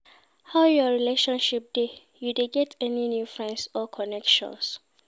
How your relationship dey, you dey get any new friends or connections?